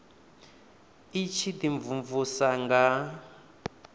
i tshi ḓi mvumvusa nga